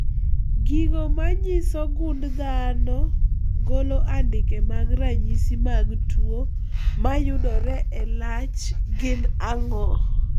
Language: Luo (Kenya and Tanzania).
Gigo manyiso gund dhano golo andike mag ranyisi mag tuo mayudore e lach gin ang'o?